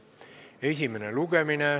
Esimene lugemine.